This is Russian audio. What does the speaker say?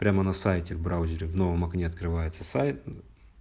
прямо на сайте в браузере в новом окне открывается сайт